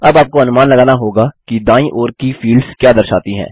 अब आपको अनुमान लगाना होगा कि दायीं ओर की फील्ड्स क्या दर्शाती हैं